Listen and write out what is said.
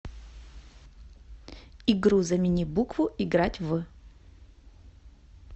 игру замени букву играть в